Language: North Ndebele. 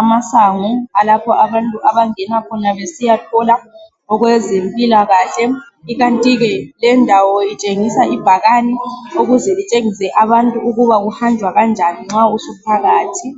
amasango alapho abantu abangena khona besiya thola okwezempilakahle ikanti ke lendawo itshengisa ibhakane ukuze litshengise abantu ukuba kuhanjwa kanjani nxa usuphakathi.